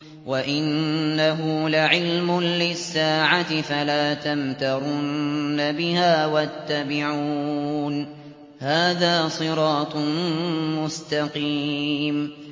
وَإِنَّهُ لَعِلْمٌ لِّلسَّاعَةِ فَلَا تَمْتَرُنَّ بِهَا وَاتَّبِعُونِ ۚ هَٰذَا صِرَاطٌ مُّسْتَقِيمٌ